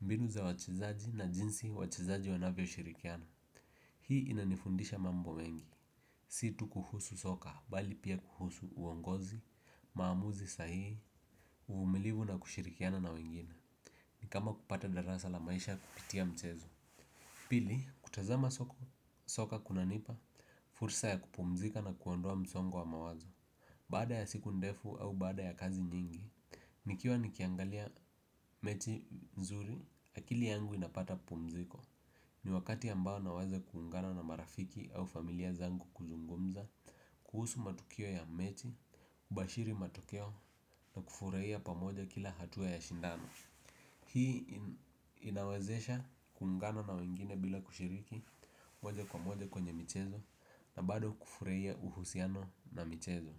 mbinu za wachezaji na jinsi wachezaji wanavyo shirikiana. Hii inanifundisha mambo mengi, si tu kuhusu soka, bali pia kuhusu uongozi, maamuzi sahihi, uvumilivu na kushirikiana na wengine. Ni kama kupata darasa la maisha kupitia mchezo. Pili, kutazama soka kuna nipa. Fursa ya kupumzika na kuondoa msongo wa mawazo. Baada ya siku ndefu au baada ya kazi nyingi. Nikiwa nikiangalia mechi nzuri. Akili yangu inapata pumziko. Ni wakati ambao na waze kuungana na marafiki au familia zangu kuzungumza kuhusu matukio ya mechi. Kubashiri matokeo na kufurahia pamoja kila hatua ya shindano. Hii inawezesha kuungana na wengine bila kushiriki moja kwa moja kwenye michezo. Na bado kufurahia uhusiano na michezo.